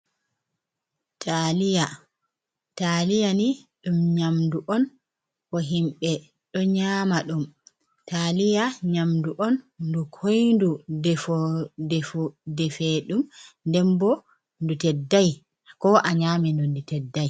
Taliya, taliya ni ɗum nyamdu on bo himɓe ɗo nyama ɗum, taliya nyamdu on ndu koyndu defowo defeɗum nden bo ndu teddai ko a nyama ndu, ndu teddai.